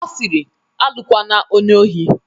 Ọ siri "Alụkwana onye ohi"